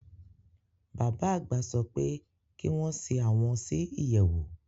Bàbá àgbà sopé kí wón si àwon si ìyèwù.